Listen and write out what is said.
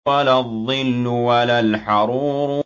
وَلَا الظِّلُّ وَلَا الْحَرُورُ